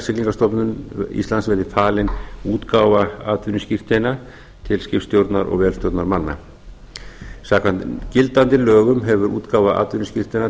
tryggingastofnun íslands verði falin útgáfa atvinnuskírteina til skipstjórnar og vélstjórnarmanna samkvæmt gildandi lögum hefur útgáfa atvinnuskírteina